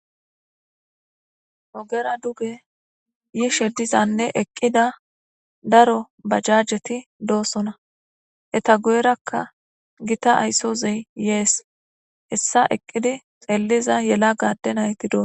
ogera duge yishe dizanne eqqida daro bajajeti doosona eta guyerakka gita ayssozey yees hessa eqqidi xelliza yela gaadde nayti doo